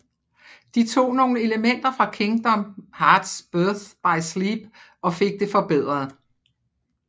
De tog nogle elementer fra Kingdom Hearts Birth by Sleep og fik det forbedret